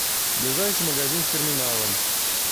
ближайший магазин с терминалом